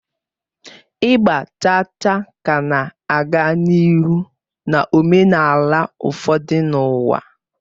Ịgba chaa chaa ka na-aga n'ihu na omenala ụfọdụ n'ụwa.